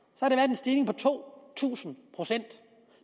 stigning på to tusind procent